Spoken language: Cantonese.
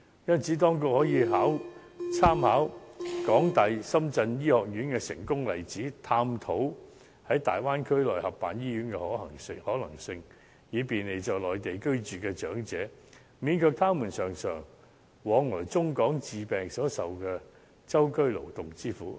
因此，當局可以參考港大深圳醫院的成功例子，探討在大灣區內合辦醫院的可能性，以便利在內地居住的長者，免卻他們經常往來中港之間治病所受的舟車勞頓之苦。